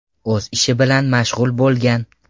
o‘z ishi bilan mashg‘ul bo‘lgan.